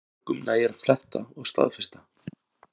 Mörgum nægir að fletta og staðfesta